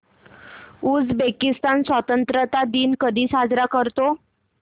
Uzbekistan स्वतंत्रता दिन कधी साजरा करतो